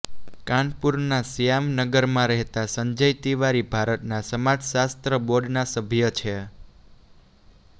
કાનપુરના શ્યામ નગરમાં રહેતા સંજય તિવારી ભારતના સમાજશાસ્ત્ર બોર્ડના સભ્ય છે